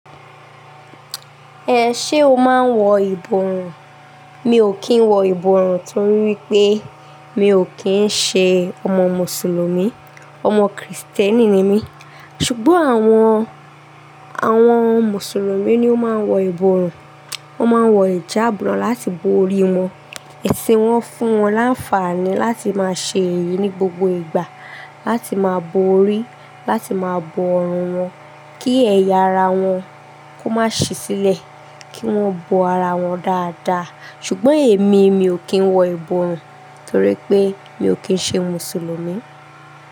Ehn, ṣe o máa ń wọ ìbòrùn? Mi ò kí ń wọ ìbòrùn torí wípé mi ò kí ń ṣe ọmọ mùsùlùmí. Ọmọ kìrìsìtẹ́nì ni mí. Ṣùgbọ́n àwọn, àwọn mùsùlùmí ni ó máa ń wọ ìbòrùn. Wọ́n máa ń wọ ìjàbu láti bo orí wọn. Ẹṣin wọn fún wọn láǹfààní láti máa ṣe èyí ní gbogbo ìgbà, láti máa bo orí, láti máa bo ọrùn wọn, kí ẹ̀yà ara wọn kó má ṣi sílẹ̀, kí wọ́n bo ara wọn dáadáa. Ṣùgbọ́n èmi mi ò kí ń wọ ìbòrùn torí pé mi ò kí ń ṣe mùsùlùmí.